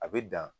A bɛ dan